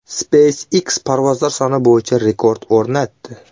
SpaceX parvozlar soni bo‘yicha rekord o‘rnatdi.